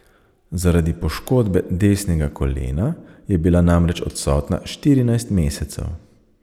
Zaradi poškodbe desnega kolena je bila namreč odsotna štirinajst mesecev.